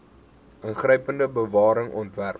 ingrypende bewaring ontwerp